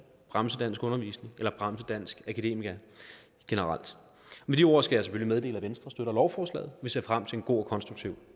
bremse danskundervisning eller bremse danske akademikere generelt med de ord skal jeg selvfølgelig meddele at venstre støtter lovforslaget vi ser frem til en god og konstruktiv